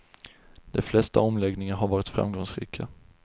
De flesta omläggningar har varit framgångsrika.